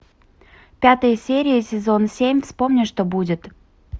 пятая серия сезон семь вспомни что будет